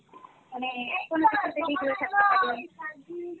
মানে এখন থাকতে পারি